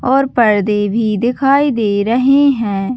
और पर्दे भी दिखाई दे रहे है।